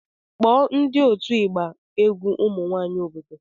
Kpọọ ndị otu ịgba egwu ụmụ nwanyị obodo